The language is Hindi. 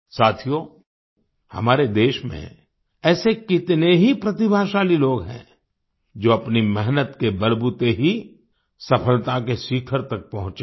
साथियो हमारे देश में ऐसे कितने ही प्रतिभाशाली लोग हैं जो अपनी मेहनत के बलबूते ही सफलता के शिखर तक पहुंचे हैं